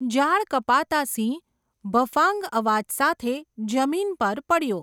જાળ કપાતાં સિંહ ભફાંગ અવાજ સાથે જમીન પર પડ્યો.